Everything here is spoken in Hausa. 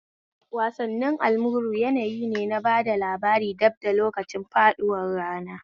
Wasanni almuru yanayi ne na bada labarai bad da lokacin faɗuwar rana